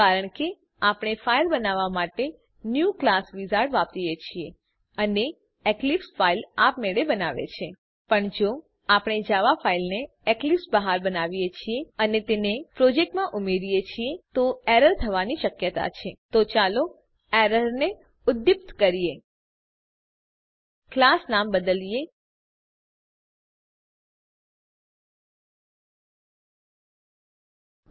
કારણ કે આપણે ફાઈલ બનાવવાં માટે ન્યુ ક્લાસ વિઝાર્ડ વાપરીએ છીએ અને એક્લીપ્સ ફાઈલ આપમેળે બનાવે છે પણ જો આપણે જાવા ફાઈલને એક્લીપ્સ બહાર બનાવીએ છીએ અને તેને પ્રોજેક્ટમાં ઉમેરીએ છીએ તો એરર થવાની શક્યતા છે તો ચાલો ક્લાસ નામ બદલીને એરરને ઉદ્દીપ્ત કરીએ